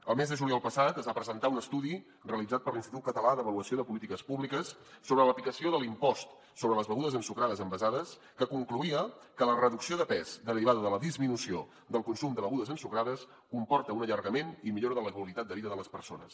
el mes de juliol passat es va presentar un estudi realitzat per l’institut català d’avaluació de polítiques públiques sobre l’aplicació de l’impost sobre les begudes ensucrades envasades que concloïa que la reducció de pes derivada de la disminució del consum de begudes ensucrades comporta un allargament i millora de la qualitat de vida de les persones